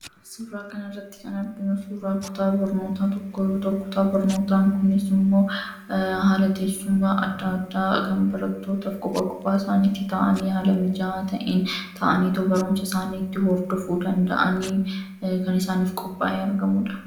suuraa kan irratti janabinu suuraa kutaa barnootaa tokkoyuuta kutaa barnootaan kunis immoo haalateessuma addaaddaa kan baratootaf qupaa qupaa isaaniitti ta'anii haala mijaaa ta'iin ta'anii too barumsa isaanii itti hordofu danda'anii kan isaaniif qupaa in argamuudha